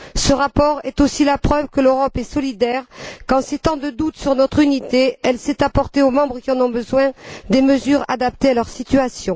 Ce rapport est aussi la preuve que l'Europe est solidaire, qu'en ces temps de doute sur notre unité, elle sait apporter aux membres qui en ont besoin des mesures adaptées à leur situation.